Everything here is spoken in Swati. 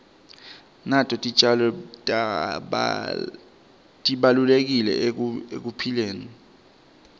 nato titjalo tibalulekile ekuphileni